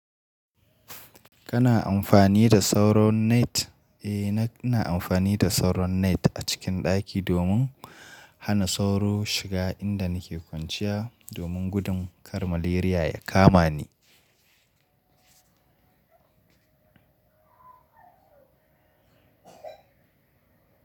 Kana amfani da sauro net? Eh, na, ina amfani da sauro net a cikin ɗaki domin hana sauro shiga inda nake kwanciya domin gudun kar malaria ya kama ni.